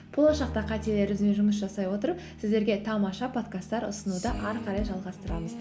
болашақта қателерімізбен жұмыс жасай отырып сіздерге тамаша подкасттар ұсынуды ары қарай жалғастырамыз